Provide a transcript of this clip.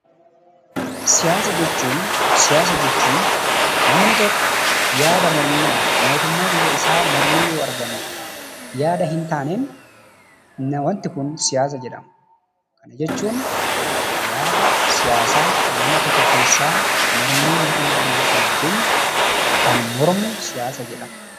Siyaasa jechuun namni tokko yaada mormiidhaan mootummaa biyya isaa mormee yoo argame, yaada hin taaneen waanti kun siyaasa jedhama. Kana jechuun yaada siyaasaa nama tokko keessaa mormii mootummaa biyya sanaatiin kan mormu siyaasa jedhama.